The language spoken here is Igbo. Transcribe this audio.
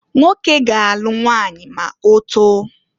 Nwoke ga-alụ nwanyị ma otoo.